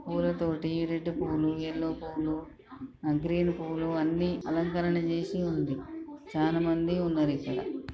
పూల తోటి రెడ్ పూలు ఎల్లో పూలు ఆ గ్రీన్ పూలు అన్ని అలంకరణ చేసి ఉంది. చాన మంది ఉన్నారు ఇక్కడ.